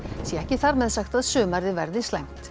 sé ekki þar með sagt að sumarið verði slæmt